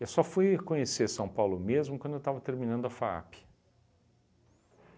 Eu só fui conhecer São Paulo mesmo quando eu estava terminando a FAAP.